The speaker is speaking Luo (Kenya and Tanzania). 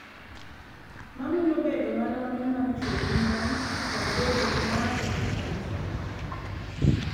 Ma mulo bedo maromre mar chwo gi mon kod bedo gi ng�ato ka ng�ato.